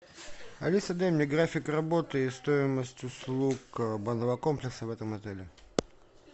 алиса дай мне график работы и стоимость услуг банного комплекса в этом отеле